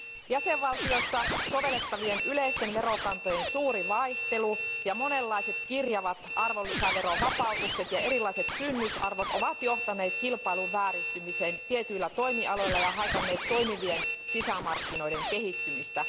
Jäsenvaltioissa sovellettavien yleisten verokantojen suuri vaihtelu ja monenlaiset kirjavat arvonlisäverovapautukset ja erilaiset kynnysarvot ovat johtaneet kilpailun vääristymiseen tietyillä toimialoilla ja haitanneet toimivien sisämarkkinoiden kehittymistä.